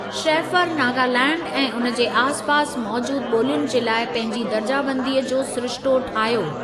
Shaffer Nagaland ऐं उन जे आसिपासि मौजूदु ॿोलियुनि जे लाइ पंहिंजी दर्जाबंदीअ जो सिरिश्तो ठाहियो।